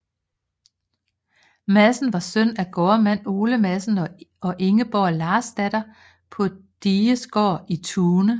Madsen var søn af gårdmand Ole Madsen og Ingeborg Larsdatter på Digesgaard i Tune